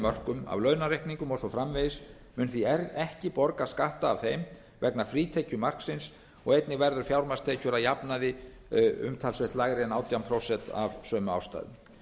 mörkum af launareikningum og svo framvegis mun því ekki borga skatt af þeim vegna frítekjumarksins og einnig verður fjármagnstekjur umtalsvert lægri en átján prósent af sömu ástæðum